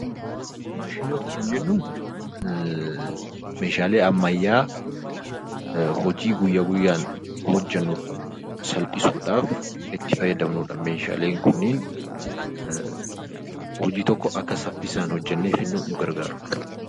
Maashinoota kan jennuun meeshaalee ammayyaa hojii guyyaa guyyaan hojjennu salphisuudhaaf itti fayyadamnudha. Meeshaaleen kunniin hojii tokko saffisaan akka hojjennee fixnuuf kan nu gargaaranidha.